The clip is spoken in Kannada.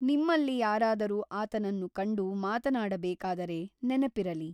ನಿಮ್ಮಲ್ಲಿ ಯಾರಾದರೂ ಆತನನ್ನು ಕಂಡು ಮಾತನಾಡಬೇಕಾದರೆ ನೆನಪಿರಲಿ.